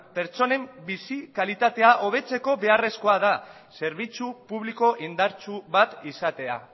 pertsonen bizi kalitatea hobetzeko beharrezkoa da zerbitzu publiko indartsu bat izatea